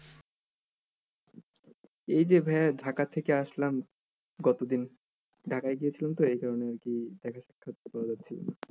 এই যে ভাইয়া ঢাকা থেকে আসলাম গত দিন ঢাকায় গিয়েছিলাম তো এই জন্য আরকি দেখা সাক্ষাত যায়নি।